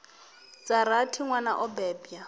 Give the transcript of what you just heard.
dza rathi nwana o bebwa